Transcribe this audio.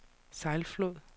Sejlflod